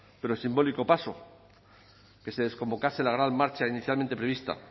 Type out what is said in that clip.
pero simbólico paso que se desconvocase la gran marcha inicialmente prevista